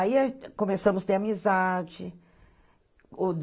Aí, começamos a ter amizade.